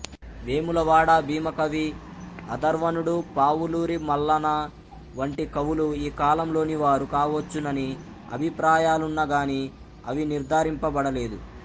వేములవాడ భీమకవి అధర్వణుడు పావులూరి మల్లన వంటి కవులు ఈ కాలంలోనివారు కావచ్చునని అభిప్రాయాలున్నా గాని అవి నిర్ధారింపబడలేదు